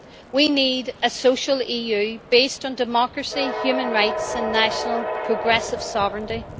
We need a social EU based on democracy, human rights and national progressive sovereignty